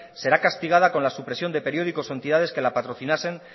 será castigada con la supresión de periódicos o entidades que la patrocinasen